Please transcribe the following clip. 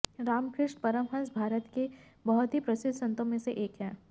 रामकृष्ण परमहंस भारत के बहुत ही प्रसिद्ध संतों में से एक हैं